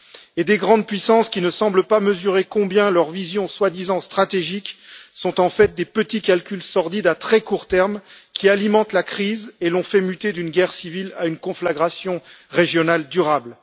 Et des grandes puissances qui ne semblent pas mesurer combien leurs visions soi disant stratégiques sont en fait des petits calculs sordides à très court terme qui alimentent la crise et l'ont fait muter d'une guerre civile à une conflagration régionale durable.